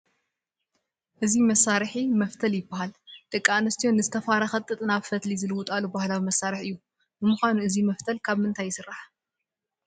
እዚ መሳርሒ መፍተል ይበሃል፡፡ ደቂ ኣንስትዮ ንዝተፋረኸ ጥጥ ናብ ፈትሊ ዝልውጣሉ ባህላዊ መሳርሒ እዩ፡፡ ንምዃኑ እዚ መፍተል ካብ ምንታይ ይስራሕ?